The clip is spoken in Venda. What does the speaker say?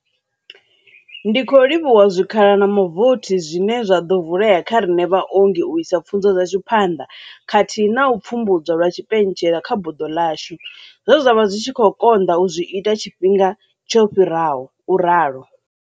Ndi khou livhuwa zwikhala na mavothi zwine zwa ḓo vulea kha riṋe vhaongi u isa pfunzo dzashu phanḓa khathihi na u pfumbudzwa lwa tshipentshela kha buḓo ḽashu, zwe zwa vha zwi tshi konḓa u zwi ita tshifhinga tsho fhiraho, u ralo.